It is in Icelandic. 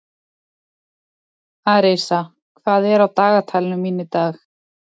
Arisa, hvað er á dagatalinu mínu í dag?